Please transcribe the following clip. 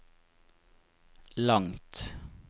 langt